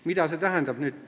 Mida see tähendab?